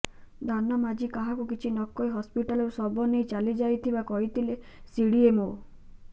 ଧାନ ମାଝୀ କାହାକୁ କିଛି ନକହି ହସ୍ପିଟାଲରୁ ଶବ ନେଇ ଚାଲିଯାଇଥିବା କହିଥିଲେ ସିଡିଏମ୍ଓ